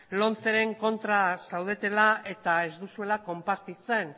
lomceren kontra zaudetela eta ez duzuela konpartitzen